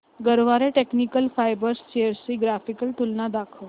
Garware technical fibres shares ची graphical तुलना दाखव